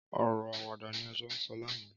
Ọrọ àwádà ni à jọ sọ làná